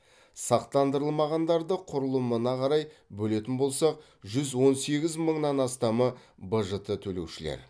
сақтандырылмағандарды құрылымына қарай бөлетін болсақ жүз он сегіз мыңнан астамы бжт төлеушілер